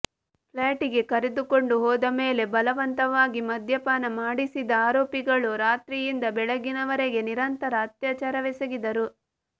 flat ಗೆ ಕರೆದುಕೊಂಡು ಹೋದ ಮೇಲೆ ಬಲವಂತವಾಗಿ ಮದ್ಯಪಾನ ಮಾಡಿಸಿದ ಆರೋಪಿಗಳು ರಾತ್ರಿಯಿಂದ ಬೆಳಗಿನವರೆಗೆ ನಿರಂತರ ಅತ್ಯಾಚಾರವೆಸಗಿದರು